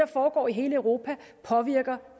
foregår i hele europa påvirker